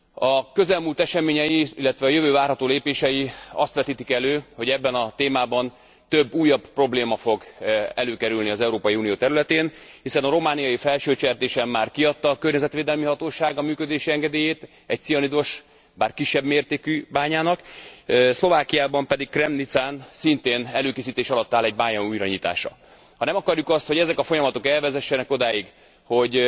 A közelmúlt eseményei, illetve a jövő várható lépései azt vetítik elő, hogy ebben a témában több újabb probléma fog előkerülni az Európai Unió területén, hiszen a romániai Felsőcsertésen már kiadta a környezetvédelmi hatóság a működési engedélyt egy cianidos, bár kisebb mértékű bányának, Szlovákiában pedig, Kremnicán, szintén előkészítés alatt áll egy bánya újranyitása. Ha nem akarjuk azt, hogy ezek a folyamatok elvezessenek odáig, hogy